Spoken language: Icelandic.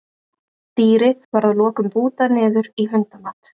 dýrið var að lokum bútað niður í hundamat